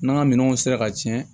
N'an ka minɛnw sera ka tiɲɛ